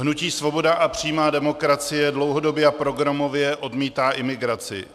Hnutí Svoboda a přímá demokracie dlouhodobě a programově odmítá imigraci.